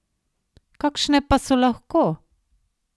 Kakšne pa so lahko?